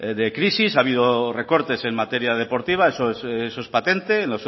de crisis ha habido recortes en materia deportiva eso es patente en